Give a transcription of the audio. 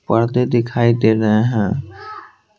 पर्दे दिखाई दे रहे हैं।